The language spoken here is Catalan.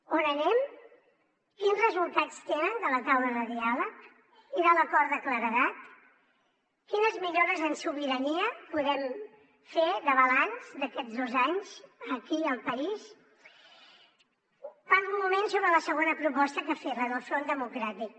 on anem quins resultats tenen de la taula de diàleg i de l’acord de claredat quines millores en sobirania podem fer de balanç d’aquests dos anys aquí al país parlo un moment sobre la segona proposta que ha fet la del front democràtic